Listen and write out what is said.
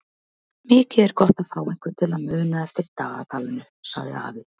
Mikið er gott að fá einhvern til að muna eftir dagatalinu sagði afi.